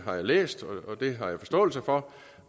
har jeg læst og det har jeg forståelse for